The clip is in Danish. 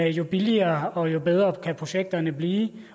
jo billigere og jo bedre kan projekterne blive